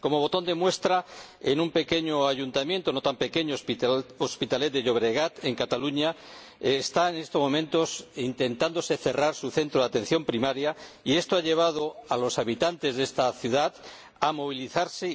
Como botón de muestra, en un pequeño Ayuntamiento no tan pequeño Hospitalet de Llobregat, en Cataluña, en estos momentos está intentándose cerrar su centro de atención primaria, lo que ha llevado a los habitantes de esta ciudad a movilizarse